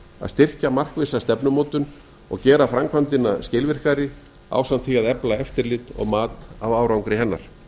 að styrkja markvissa stefnumótun og gera framkvæmdina skilvirkari ásamt því að efla eftirlit og mat á arnagri hennar